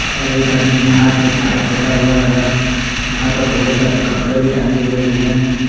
और एक आदमी ने हाथ में पाइप धारा हुआ है यहां पर बहुत सारे कपड़े भी टंगे हुए हैं।